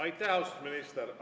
Aitäh, austatud minister!